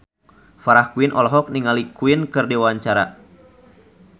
Farah Quinn olohok ningali Queen keur diwawancara